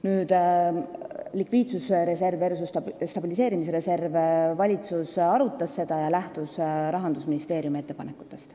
Nüüd, likviidsusreserv versus stabiliseerimisreserv – valitsus arutas seda ja lähtus otsustamisel Rahandusministeeriumi ettepanekutest.